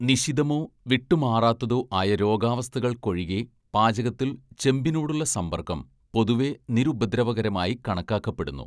നിശിതമോ വിട്ടുമാറാത്തതോ ആയ രോഗാവസ്ഥകള്‍ക്കൊഴികെ പാചകത്തിൽ ചെമ്പിനോടുള്ള സമ്പർക്കം പൊതുവെ നിരുപദ്രവകരമായി കണക്കാക്കപ്പെടുന്നു.